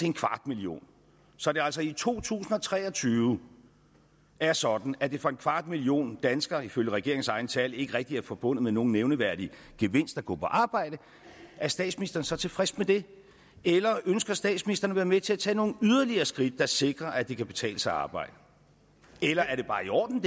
en kvart million så det altså i to tusind og tre og tyve er sådan at det for en kvart million danskere ifølge regeringens egne tal ikke rigtig er forbundet med nogen nævneværdig gevinst at gå på arbejde er statsministeren så tilfreds med det eller ønsker statsministeren at være med til at tage nogle yderligere skridt der sikrer at det kan betale sig at arbejde eller er det bare i orden